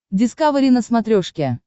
дискавери на смотрешке